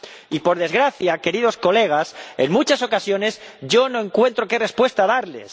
Y, por desgracia, queridos colegas, en muchas ocasiones yo no encuentro qué respuesta darles.